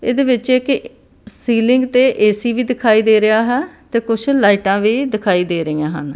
ਇਹਦੇ ਵਿੱਚ ਇੱਕ ਸੀਲਿੰਗ ਤੇ ਏ_ਸੀ ਵੀ ਦਿਖਾਈ ਦੇ ਰਿਹਾ ਹੈ ਤੇ ਕੁੱਛ ਲਾਈਟਾਂ ਵੀ ਦਿਖਾਈ ਦੇ ਰਹੀਆਂ ਹਨ।